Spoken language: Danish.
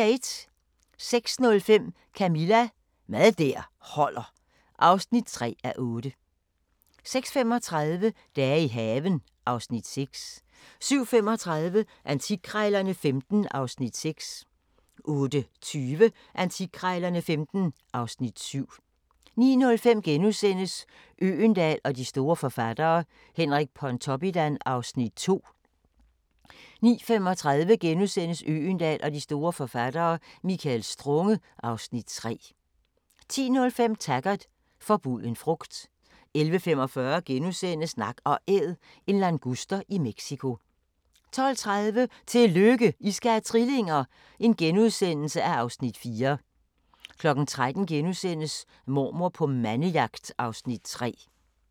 06:05: Camilla – Mad der holder (3:8) 06:35: Dage i haven (Afs. 6) 07:35: Antikkrejlerne XV (Afs. 6) 08:20: Antikkrejlerne XV (Afs. 7) 09:05: Øgendahl og de store forfattere: Henrik Pontoppidan (Afs. 2)* 09:35: Øgendahl og de store forfattere: Michael Strunge (Afs. 3)* 10:05: Taggart: Forbuden frugt 11:45: Nak & Æd – en languster i Mexico * 12:30: Tillykke, I skal have trillinger! (Afs. 4)* 13:00: Mormor på mandejagt (Afs. 3)*